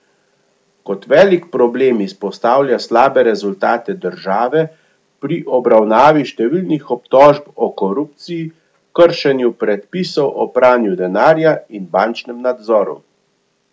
Kot velik problem izpostavlja slabe rezultate države pri obravnavi številnih obtožb o korupciji, kršenju predpisov o pranju denarja in bančnemu nadzoru.